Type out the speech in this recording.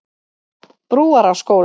Brúarásskóla